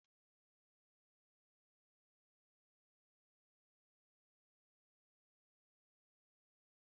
Akụkọ pùém dị ka akụkọ ndị mmadụ na-ekwu n'olu dara ụda na-akọ banyere ahụmahụ ha